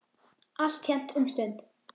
Alltént um stund.